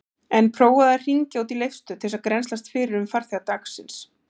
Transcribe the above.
En prófaðu að hringja út í Leifsstöð til að grennslast fyrir um farþega dagsins.